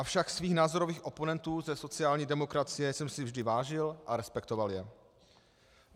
Avšak svých názorových oponentů ze sociální demokracie jsem si vždy vážil a respektoval je.